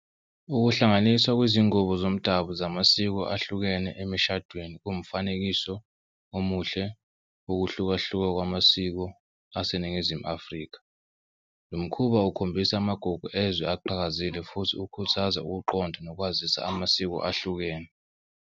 Ukuhlanganiswa kwezingubo zomdabu zamasiko ahlukene emshadweni kungumfanekiso omuhle okuhlukahluka kwamasiko aseNingizimu Afrika. Lo mkhuba ukhombisa amagugu ezwe aqhakazile futhi ukhuthaza ukuqonda nokwazisa amasiko ahlukene.